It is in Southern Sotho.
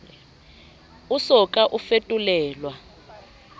o so ka o fetolelwa